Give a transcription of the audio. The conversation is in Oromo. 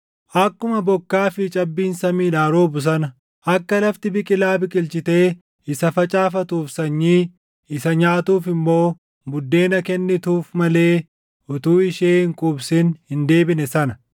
Akkuma bokkaa fi cabbiin samiidhaa roobu sana, akka lafti biqila biqilchitee isa facaafatuuf sanyii, isa nyaatuuf immoo buddeena kennituuf malee utuu ishee hin quubsin hin deebine sana,